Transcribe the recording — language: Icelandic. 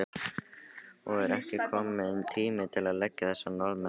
Og er ekki kominn tími til að leggja þessa Norðmenn?